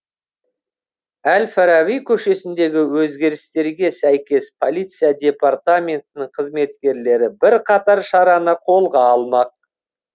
әл фараби көшесіндегі өзгерістерге сәйкес полиция департаментінің қызметкерлері бірқатар шараны қолға алмақ